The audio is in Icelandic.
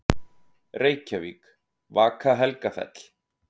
Reykjavík: Vaka-Helgafell.